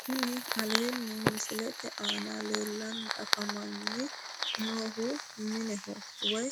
Kuni aleenni misilete aana leellanni afamanni noohu mineho woyi